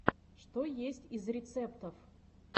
что есть из рецептов